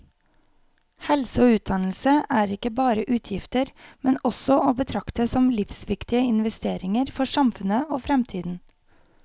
Helse og utdannelse er ikke bare utgifter, men også å betrakte som livsviktige investeringer for samfunnet og fremtiden.